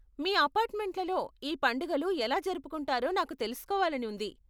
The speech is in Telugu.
మీ అపార్ట్ మెంట్లలో ఈ పండుగలు ఎలా జరుపుకుంటారో నాకు తెలుసుకోవాలని ఉంది.